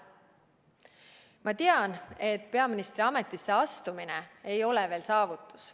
Ma tean, et peaministri ametisse astumine ei ole veel saavutus.